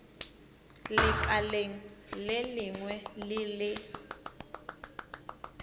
lekaleng le lengwe le le